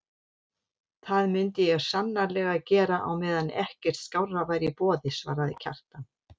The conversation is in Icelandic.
Það myndi ég sannarlega gera á meðan ekkert skárra væri í boði, svaraði Kjartan.